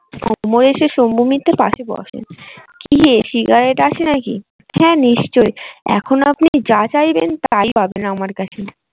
অমর এসে শম্ভু মিত্রের পাশে বসেন। কি হে সিগারেট আছে নাকি? হ্যাঁ নিশ্চই এখন আপনি যা চাইবেন তাই পাবেন আমার কাছে।